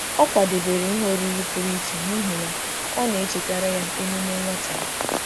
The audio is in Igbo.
Ọ kwadebere ihe oriri pụrụ iche n'ihi na ọ na ọ na-echetara ya emume nwata ya.